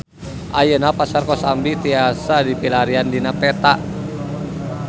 Ayeuna Pasar Kosambi tiasa dipilarian dina peta